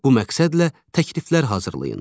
Bu məqsədlə təkliflər hazırlayın.